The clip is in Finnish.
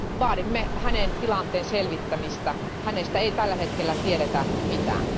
Vaadimme hänen tilanteensa selvittämistä, hänestä ei tällä hetkellä tiedetä mitään.